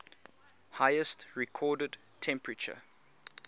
highest recorded temperature